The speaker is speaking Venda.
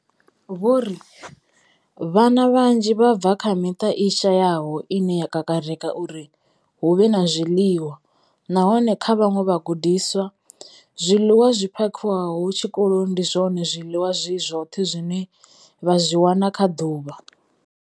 Vho ri. Vhana vhanzhi vha bva kha miṱa i shayaho ine ya kakarika uri hu vhe na zwiḽiwa, nahone kha vhaṅwe vhagudiswa, zwiḽiwa zwi phakhiwaho tshikoloni ndi zwone zwiḽiwa zwi zwoṱhe zwine vha zwi wana kha ḓuvha.